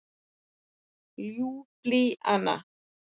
Ljúblíana